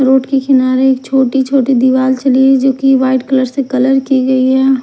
Road के किनारे एक छोटी छोटी दीवाल जो की व्हाइट कलर से कलर की गई है।